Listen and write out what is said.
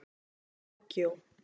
Tókíó